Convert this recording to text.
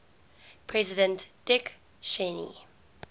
president dick cheney